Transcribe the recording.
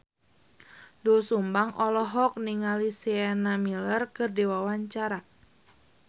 Doel Sumbang olohok ningali Sienna Miller keur diwawancara